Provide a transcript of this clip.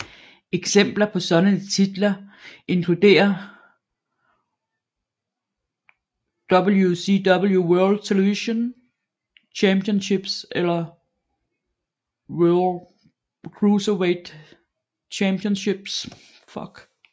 Eksempler på sådanne titler inkluderer WCW World Television Championship eller WCW Cruiserweight Championship